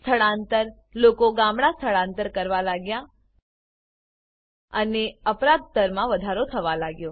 સ્થળાંતર લોકો ગામડા સ્થળાંતર કરવા લાગ્યા અને અપરાધ દરમાં વધારો થવા લાગ્યો